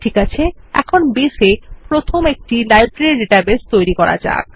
ঠিক আছে এখন বেস এ প্রথম একটি ডাটাবেস লাইব্রেরি তৈরী করা যাক